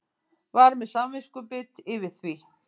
Var með samviskubit yfir því.